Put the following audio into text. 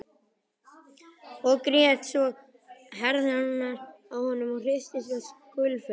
Og grét svo að herðarnar á honum hristust og skulfu.